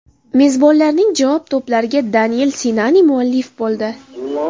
Mezbonlarning javob to‘plariga Danel Sinani muallif bo‘ldi.